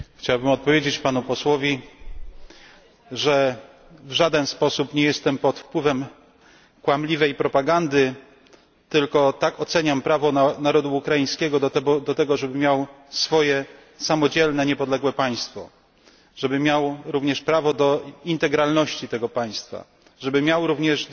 Chciałbym odpowiedzieć Panu Posłowi, że w żaden sposób nie jestem pod wpływem kłamliwej propagandy, tylko tak oceniam prawo narodu ukraińskiego do tego, żeby miał swoje samodzielne niepodległe państwo, żeby miał również prawo do integralności tego państwa, żeby miał również